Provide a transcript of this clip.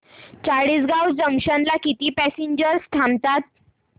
Chalisgaon junction ला किती passengers थांबतात